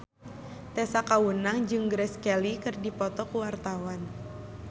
Tessa Kaunang jeung Grace Kelly keur dipoto ku wartawan